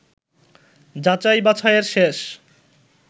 যাছাই-বাছাইয়ের শেষ